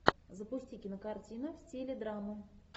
запусти кинокартина в стиле драма